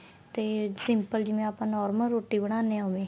ਤੇ simple ਜਿਵੇਂ ਆਪਾਂ normal ਰੋਟੀ ਬਣਾਨੇ ਆ ਉਵੇ